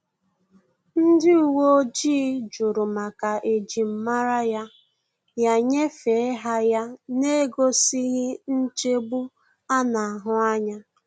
Ndị uwe ojii jụrụ maka ejim mara ya, ya nyefee ha ya n'egosighi nchegbu a na-ahu anya